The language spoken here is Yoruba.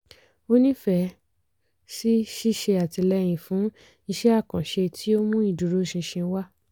ó nífẹ̀ẹ́ sí ṣíṣe àtìlẹyìn fún isẹ́ àkànṣe tí ó mú ìdúró ṣinṣin wá.